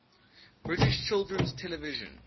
british children's television